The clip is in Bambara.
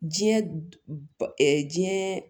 Diɲɛ ba diɲɛ